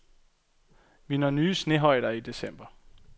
Vi når nye snehøjder i december.